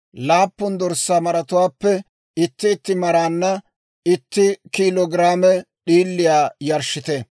laappun dorssaa maratuwaappe itti itti maraanna itti kiilo giraame d'iiliyaa yarshshite.